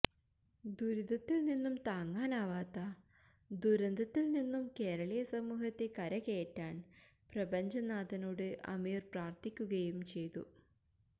ദുരിതത്തില്നിന്നും താങ്ങാനാവാത്ത ദുരന്തത്തില്നിന്നും കേരളീയ സമൂഹത്തെ കരകയറ്റാന് പ്രപഞ്ചനാഥനോട് അമീര് പ്രാര്ഥിക്കുകയും ചെയ്തു